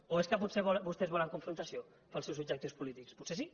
o és que potser vostès volen confrontació per als seus objectius polítics potser sí